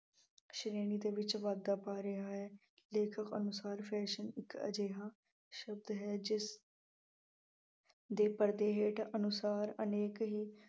ਸ਼੍ਰੇਣੀ ਦੇ ਵਿੱਚ ਵਾਧਾ ਪਾ ਰਿਹਾ ਹੈ। ਲੇਖ ਅਨੁਸਾਰ fashion ਇੱਕ ਅਜਿਹਾ ਸ਼ਬਦ ਹੈ ਜਿਸ ਦੇ ਪਰਦੇ ਹੇਠ ਅਨੁਸਾਰ ਅਨੇਕ ਹੀ